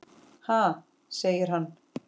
Ha? segir hann.